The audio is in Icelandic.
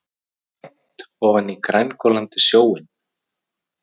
Mænt ofan í grængolandi sjóinn.